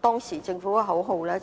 當時政府的口號是